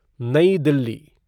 New Delhi